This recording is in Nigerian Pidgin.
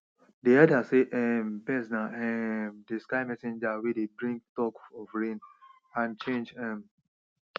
dey elders sey um birds na um dey sky messengers wey dey bring talk of rain and change um